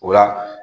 O la